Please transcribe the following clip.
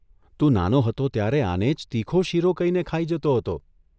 તું નાનો હતો ત્યારે આને જ તીખો શીરો કહીને ખાઇ જતો હતો !